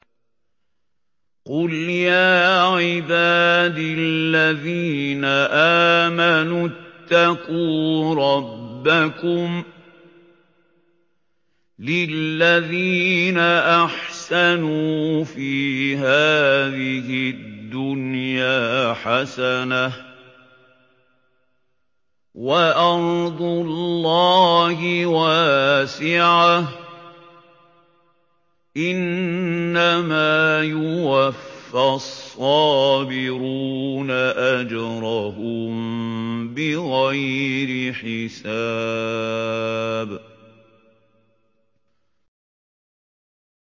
قُلْ يَا عِبَادِ الَّذِينَ آمَنُوا اتَّقُوا رَبَّكُمْ ۚ لِلَّذِينَ أَحْسَنُوا فِي هَٰذِهِ الدُّنْيَا حَسَنَةٌ ۗ وَأَرْضُ اللَّهِ وَاسِعَةٌ ۗ إِنَّمَا يُوَفَّى الصَّابِرُونَ أَجْرَهُم بِغَيْرِ حِسَابٍ